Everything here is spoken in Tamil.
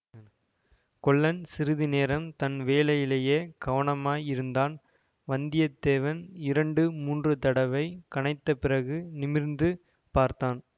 கொல்லன் சிறிது நேரம் தன் வேலையிலேயே கவனமாயிருந்தான் வந்தியத்தேவன் இரண்டு மூன்று தடவை கனைத்த பிறகு நிமிர்ந்து பார்த்தான்